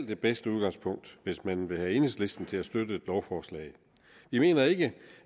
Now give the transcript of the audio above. det bedste udgangspunkt hvis man vil have enhedslisten til at støtte et lovforslag vi mener ikke